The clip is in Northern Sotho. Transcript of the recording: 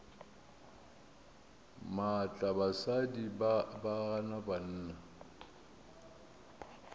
maatla basadi ba gana banna